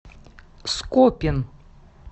скопин